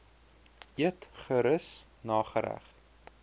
eet gerus nagereg